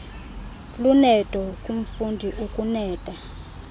luneedo kumfundi ukuneeda